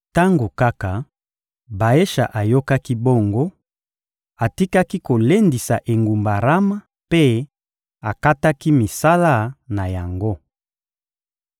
Tango kaka Baesha ayokaki bongo, atikaki kolendisa engumba Rama mpe akataki misala na yango.